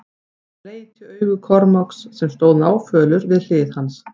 Hann leit í augu Kormáks sem stóð náfölur við hlið hans.